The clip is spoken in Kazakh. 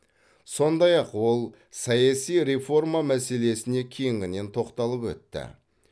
сондай ақ ол саяси реформа мәселесіне кеңінен тоқталып өтті